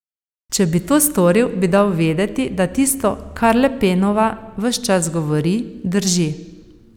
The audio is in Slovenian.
Če bi to storil, bi dal vedeti, da tisto, kar Le Penova ves čas govori, drži.